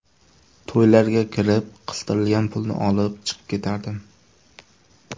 To‘ylarga kirib, qistirilgan pulni olib, chiqib ketardim.